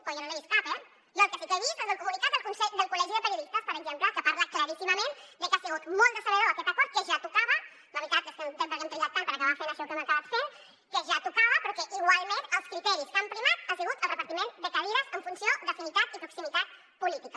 però jo no n’he vist cap eh jo el que sí que he vist és el comunicat del col·legi de periodistes per exemple que parla claríssimament de que ha sigut molt decebedor aquest acord que ja tocava la veritat és que no entenc per què hem trigat tant per acabar fent això que hem acabat fent però que igualment el criteri que ha primat ha sigut el repartiment de cadires en funció d’afinitat i proximitat política